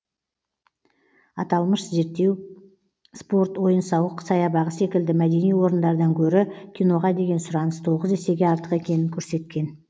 аталмыш зерттеу спорт ойын сауық саябағы секілді мәдени орындардан гөрі киноға деген сұраныс тоғыз есеге артық екенін көрсеткен